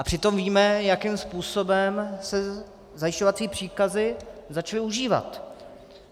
A přitom víme, jakým způsobem se zajišťovací příkazy začaly užívat.